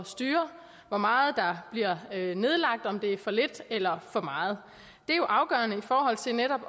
styre hvor meget der bliver nedlagt om det er for lidt eller for meget det er jo afgørende i forhold til netop